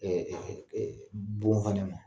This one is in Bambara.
Bon fana ma